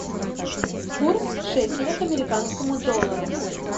курс шекеля к американскому доллару